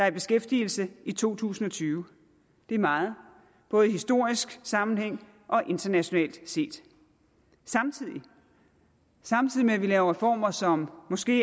i beskæftigelse i to tusind og tyve det er meget både i historisk sammenhæng og internationalt set samtidig samtidig med vi laver reformer som måske